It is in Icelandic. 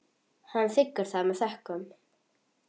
Hann þiggur það með þökkum.